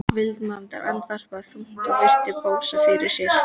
Valdimar andvarpaði þungt og virti Bóas fyrir sér.